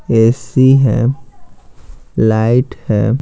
AC है light है।